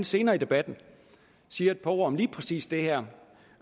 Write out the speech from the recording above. senere i debatten siger et par ord om lige præcis det her